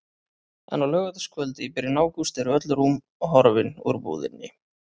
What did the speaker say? En á laugardagskvöldi í byrjun ágúst eru öll rúm horfin úr búðinni.